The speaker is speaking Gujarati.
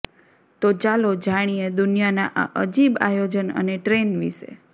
તો ચાલો જાણીએ દુનિયાના આ અજીબ આયોજન અને ટ્રેન વિશે